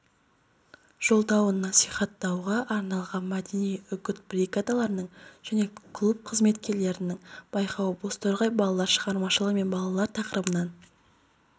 жолдауын насихаттауға арналған мәдени үгіт-бригадаларының және клуб қызметкерлерінің байқауы бозторғай балалар шығармашылығы мен балалар тақырыбынаән